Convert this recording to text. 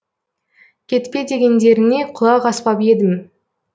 кетпе дегендеріңе құлақ аспап едім